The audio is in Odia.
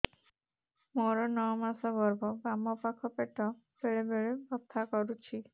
ମୋର ନଅ ମାସ ଗର୍ଭ ବାମ ପାଖ ପେଟ ବେଳେ ବେଳେ ବଥା କରୁଛି